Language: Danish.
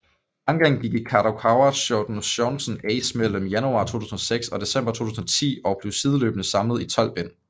Mangaen gik i Kadokawa Shotens Shounen Ace mellem januar 2006 og december 2010 og blev sideløbende samlet i tolv bind